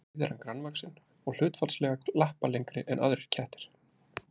Bæði er hann grannvaxinn og hlutfallslega lappalengri en aðrir kettir.